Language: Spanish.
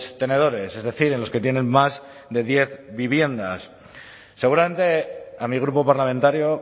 tenedores es decir en los que tienen más de diez viviendas seguramente a mi grupo parlamentario